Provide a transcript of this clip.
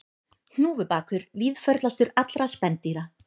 Hnúfubakur víðförlastur allra spendýra